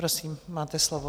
Prosím, máte slovo.